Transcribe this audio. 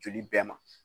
Joli bɛɛ ma